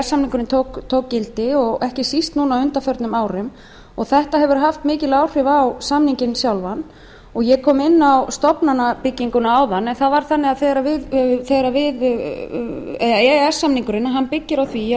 samningurinn tók gildi og ekki síst á undanförnum árum þetta hefur haft mikil áhrif á samninginn sjálfan ég kom inn á stofnanabygginguna áðan en það var þannig að þegar e e s samningurinn byggir á því að